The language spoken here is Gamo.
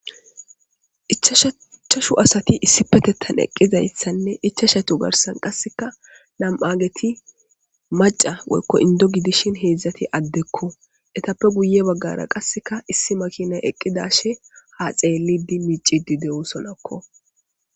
Ichchashu asat issipeteththaneqqidayssanne ichchachitika nam7agetimacca woyko inddo gidishin nam7ageti addeko etape guye bagara makinay deesissi bessan shiiqidi dizayssa besees.